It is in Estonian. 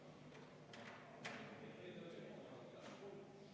Palun võtta seisukoht ja hääletada!